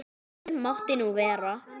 Fyrr mátti nú vera!